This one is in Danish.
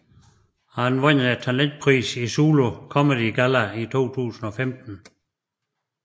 Han vandt talentprisen i Zulu Comedy Galla 2015